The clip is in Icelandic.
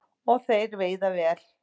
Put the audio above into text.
Og þeir veiða vel